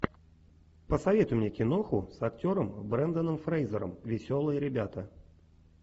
посоветуй мне киноху с актером бренданом фрейзером веселые ребята